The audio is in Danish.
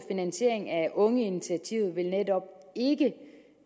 finansiering af ungeinitiativet vil netop ikke